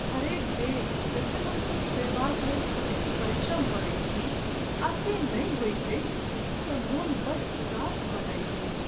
हरेक बेर जखन हम किछु पयबाक लेल कठिन परिश्रम करैत छी आ से नहि होइत अछि तँ मन बड़ उदास भऽ जाइत अछि।